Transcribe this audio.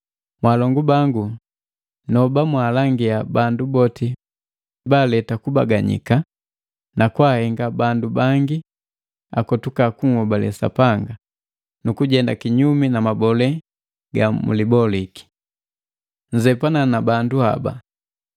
Mwaalongu bangu nndoba mwaalangia bandu boti baaleta kubaganyika nakwaahenga bandu bangi akotuka kunhobale Sapanga, nukujenda kinyumi na mabole ga muliboliki. Nzepana na bandu haba,